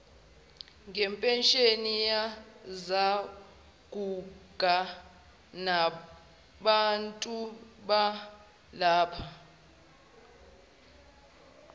ngempesheni yezaguga nabantubalapha